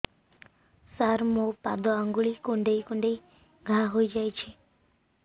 ସାର ମୋ ପାଦ ଆଙ୍ଗୁଳି କୁଣ୍ଡେଇ କୁଣ୍ଡେଇ ଘା ହେଇଯାଇଛି